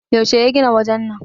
yaushe ya gina wajen nan!